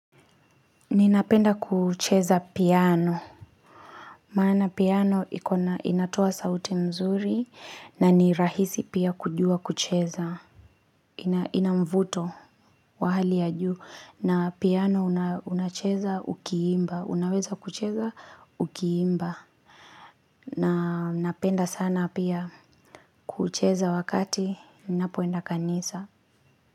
Ninapenda kucheza piano. Maana piano inatoa sauti mzuri na ni rahisi pia kujua kucheza. Ina mvuto wa hali ya juu na piano unacheza ukiimba. Unaweza kucheza ukiimba. Na napenda sana pia kucheza wakati. Ninapoenda kanisa.